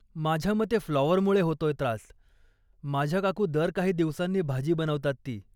माझ्यामते फ्लॉवरमुळे होतोय त्रास, माझ्या काकू दर काही दिवसांनी भाजी बनवतात ती.